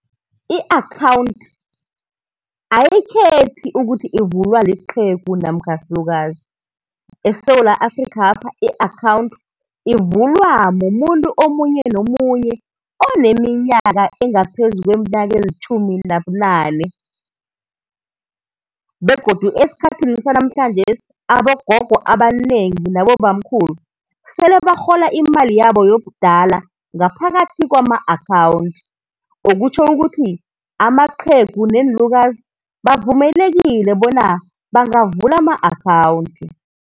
I-akhawunthi ayikhethi ukuthi ivulwa liqhegu namkha silukazi. ESewula Afrikhapha i-akhawunthi ivulwa mumuntu omunye nomunye oneminyaka engaphezu kweminyaka elitjhumi nobunane, begodu esikhathini sanamhlanjesi abogogo abanengi nabobamkhulu, sele barhola imali yabo yobudala ngaphakathi kwama-akhawunthi, okutjho ukuthi amaqhegu neenlukazi bavumelekile bona bangavula ama-akhawunthi.